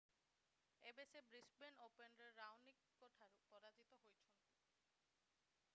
ଏବେ ସେ ବ୍ରିସବେନ୍ ଓପନରେ ରାଓନିକଙ୍କ ଠାରୁ ପରାଜିତ ହୋଇଛନ୍ତି